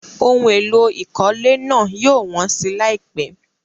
Ohun èlò ìkọ́lé náà yóò wọ́n si láìpẹ́.